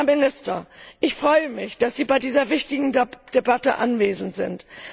Herr Minister, ich freue mich, dass Sie bei dieser wichtigen Debatte anwesend sind.